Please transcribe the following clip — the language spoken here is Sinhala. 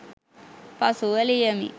පසුව ලියමි